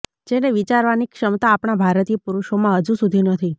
જેને વિચારવાની ક્ષમતા આપણાં ભારતીય પુરૂષોમાં હજી સુધી નથી